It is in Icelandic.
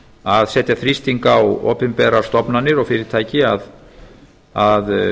að setja þrýsting á opinberar stofnanir og fyrirtæki að